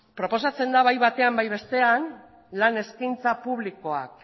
proposatzen da bai batean eta bai bestean lan eskaintza publikoak